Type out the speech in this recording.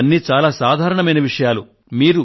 మీకు ఇవన్నీ చాలా సాధారణ విషయాలు